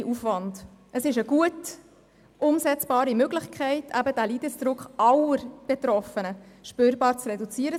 Neben Medikation und Therapie ist es eine gut umsetzbare Möglichkeit, den Leidensdruck von allen Betroffenen spürbar zu reduzieren.